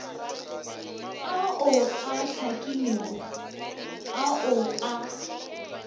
ao a hlakilego ao a